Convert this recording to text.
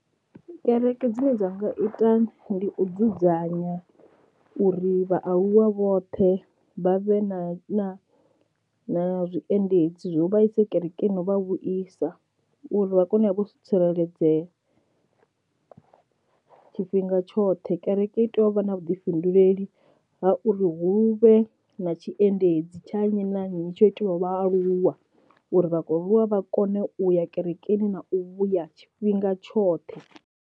Kereke dzine dza nga ita ndi u dzudzanya uri vhaaluwa vhoṱhe vha vhe na na na zwiendedzi zwo vha ise kereke no vha vhudzisa uri vha kone u vha vho tsireledzea tshifhinga tshoṱhe. Kereke i tea u vha na vhuḓifhinduleli ha uri hu vhe na tshiendedzi tsha nnyi na nnyi tsho itiwaho vhaaluwa uri vha kho vhaaluwa vha kone uya kerekeni na u vhuya tshifhinga tshoṱhe.